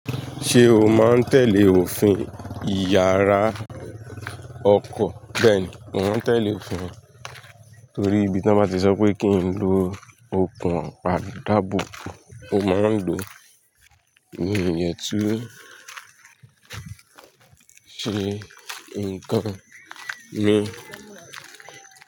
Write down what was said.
Ṣé o máa ń tẹ̀lé òfin ìyara ọkọ̀? Bẹ́ẹ̀ni, mò ń tẹ̀lé òfin torí bí tí wọ́n bá ti sọ pé kí n lo okùn àparí dábùú, ó máa ń dùn mi yẹn tú. Ṣé nǹkan ni.